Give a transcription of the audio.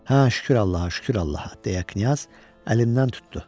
Hə, şükür Allaha, şükür Allaha, deyə Knyaz əlimdən tutdu.